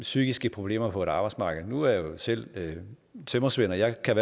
psykiske problemer på arbejdsmarkedet nu er jeg selv tømrersvend og jeg kan